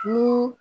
Ku